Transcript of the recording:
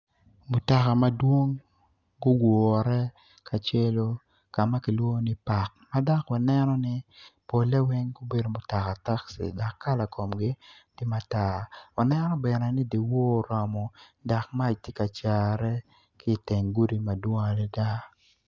Mutaka madwong gugure kacelu ka ma kilwongo ni pak ma dok waneno ni pol weny gubedo mutoka takci dok kala komgi ti matar wanen bene ni diwor oromo dok mac ti ka care ki iteng gudi madwong adida